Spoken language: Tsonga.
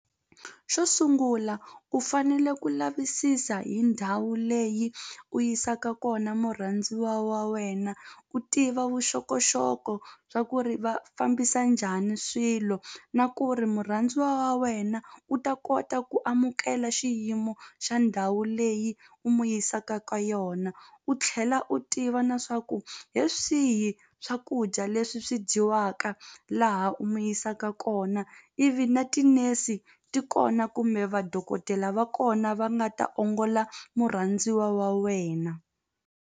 Xo sungula u fanele ku lavisisa hi ndhawu leyi u yisaka kona murhandziwa wa wena u tiva vuxokoxoko swa ku ri va fambisa njhani swilo na ku ri murhandziwa wa wena u ta kota ku amukela xiyimo xa ndhawu leyi u n'wi yisaka ka yona u tlhela u tiva na swa ku hi swihi swakudya leswi swi dyiwaka laha u mu yisaka kona ivi na ti-nurse ti kona kumbe vadokodela va kona va nga ta ongola murhandziwa wa wena.